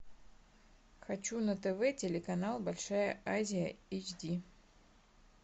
хочу на тв телеканал большая азия эйч ди